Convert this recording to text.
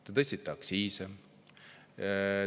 Te tõstsite aktsiise.